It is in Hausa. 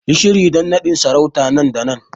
Yi shiri don nadin sarauta nan da nan!